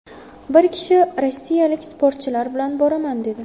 Bir kishi rossiyalik sportchilar bilan boraman, dedi.